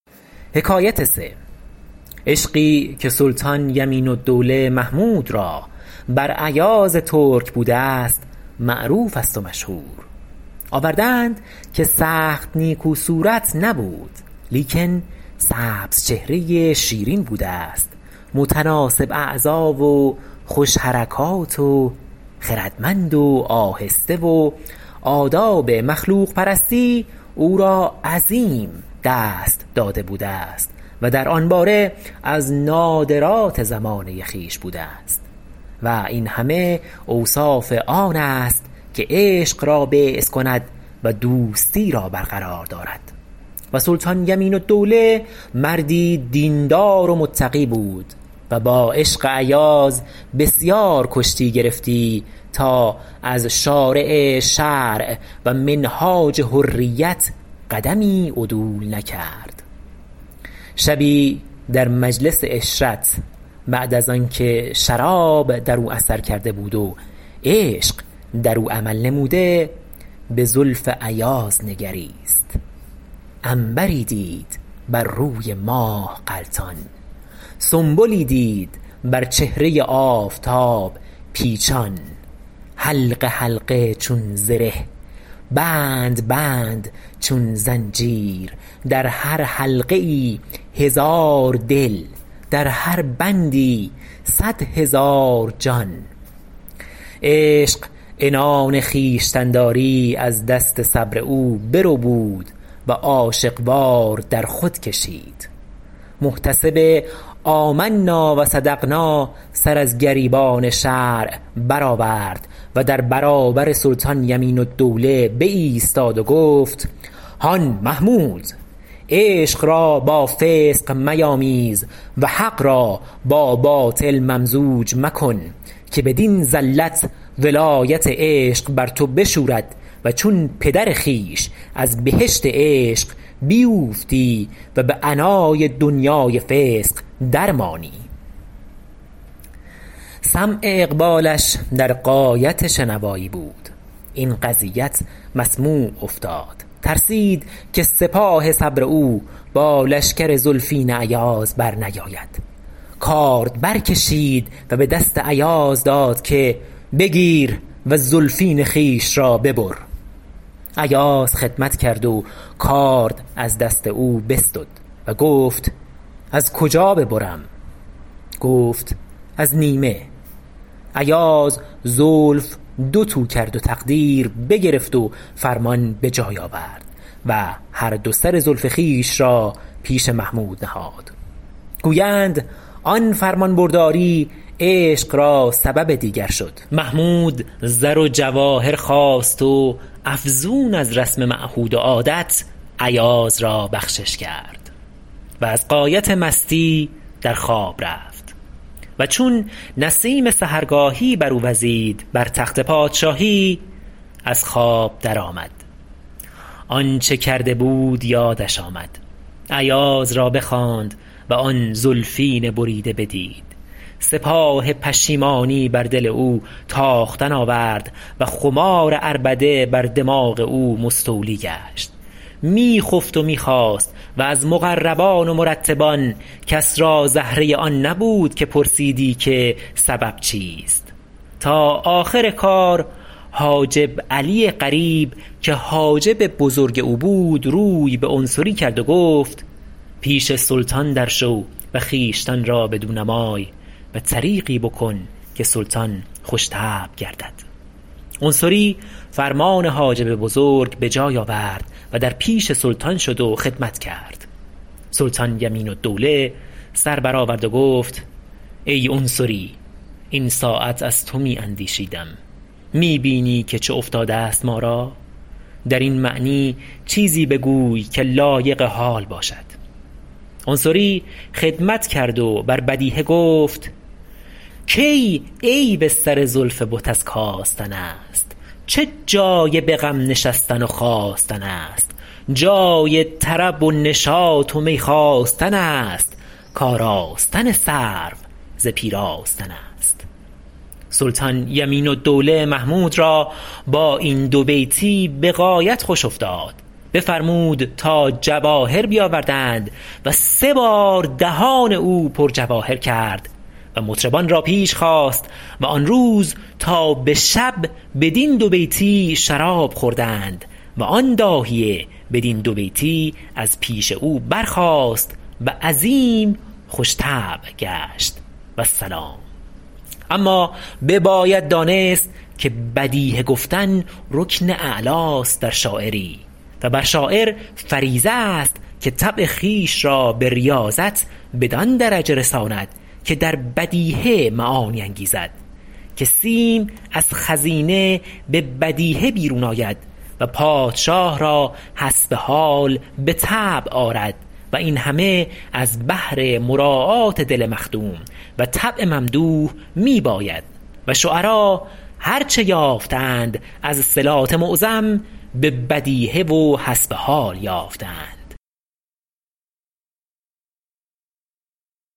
عشقی که سلطان یمین الدوله محمود را بر ایاز ترک بوده است معروف است و مشهور آورده اند که سخت نیکو صورت نبود لیکن سبز چهره شیرین بوده است متناسب اعضا و خوش حرکات و خردمند و آهسته و آداب مخلوق پرستی او را عظیم دست داده بوده است و در آن باره از نادرات زمانه خویش بوده است و این همه اوصاف آن است که عشق را بعث کند و دوستی را بر قرار دارد و سلطان یمین الدوله مردی دین دار و متقی بود و با عشق ایاز بسیار کشتی گرفتی تا از شارع شرع و منهاج حریت قدمی عدول نکرد شبی در مجلس عشرت بعد از آن که شراب در او اثر کرده بود و عشق در او عمل نموده به زلف ایاز نگریست عنبری دید بر روی ماه غلتان سنبلی دید بر چهره آفتاب پیچان حلقه حلقه چون زره بند بند چون زنجیر در هر حلقه ای هزار دل در هر بندی صد هزار جان عشق عنان خویشتن داری از دست صبر او بربود و عاشق وار در خود کشید محتسب آمنا و صدقنا سر از گریبان شرع برآورد و در برابر سلطان یمین الدوله بایستاد و گفت هان محمود عشق را با فسق میامیز و حق را با باطل ممزوج مکن که بدین زلت ولایت عشق بر تو بشورد و چون پدر خویش از بهشت عشق بیوفتی و به عناء دنیای فسق درمانی سمع اقبالش در غایت شنوایی بود این قضیت مسموع افتاد ترسید که سپاه صبر او با لشکر زلفین ایاز بر نیاید کارد برکشید و به دست ایاز داد که بگیر و زلفین خویش را ببر ایاز خدمت کرد و کارد از دست او بستد و گفت از کجا ببرم گفت از نیمه ایاز زلف دو تو کرد و تقدیر بگرفت و فرمان به جای آورد و هر دو سر زلف خویش را پیش محمود نهاد گویند آن فرمان برداری عشق را سبب دیگر شد محمود زر و جواهر خواست و افزون از رسم معهود و عادت ایاز را بخشش کرد و از غایت مستی در خواب رفت و چون نسیم سحرگاهی بر او وزید بر تخت پادشاهی از خواب درآمد آنچه کرده بود یادش آمد ایاز را بخواند و آن زلفین بریده بدید سپاه پشیمانی بر دل او تاختن آورد و خمار عربده بر دماغ او مستولی گشت می خفت و می خاست و از مقربان و مرتبان کس را زهره آن نبود که پرسیدی که سبب چیست تا آخر کار حاجب علی قریب که حاجب بزرگ او بود روی به عنصری کرد و گفت پیش سلطان درشو و خویشتن را بدو نمای و طریقی بکن که سلطان خوش طبع گردد عنصری فرمان حاجب بزرگ به جای آورد و در پیش سلطان شد و خدمت کرد سلطان یمین الدوله سر برآورد و گفت ای عنصری این ساعت از تو می اندیشیدم می بینی که چه افتاده است ما را در این معنی چیزی بگوی که لایق حال باشد عنصری خدمت کرد و بر بدیهه گفت کی عیب سر زلف بت از کاستن است چه جای به غم نشستن و خاستن است جای طرب و نشاط و می خواستن است کاراستن سرو ز پیراستن است سلطان یمین الدوله محمود را با این دو بیتی به غایت خوش افتاد بفرمود تا جواهر بیاوردند و سه بار دهان او پر جواهر کرد و مطربان را پیش خواست و آن روز تا به شب بدین دو بیتی شراب خوردند و آن داهیه بدین دو بیتی از پیش او برخاست و عظیم خوش طبع گشت و السلام اما بباید دانست که بدیهه گفتن رکن اعلی است در شاعری و بر شاعر فریضه است که طبع خویش را به ریاضت بدان درجه رساند که در بدیهه معانی انگیزد که سیم از خزینه به بدیهه بیرون آید و پادشاه را حسب حال به طبع آرد و این همه از بهر مراعات دل مخدوم و طبع ممدوح می باید و شعرا هر چه یافته اند از صلات معظم به بدیهه و حسب حال یافته اند